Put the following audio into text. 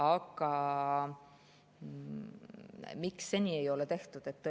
Aga miks seni ei ole tehtud?